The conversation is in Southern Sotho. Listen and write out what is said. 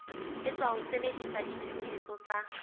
etswa ho sebedisa ditshebeletso tsa